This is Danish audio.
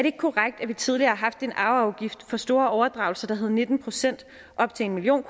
ikke korrekt at vi tidligere har haft en arveafgift for store overdragelser der hed nitten procent op til en million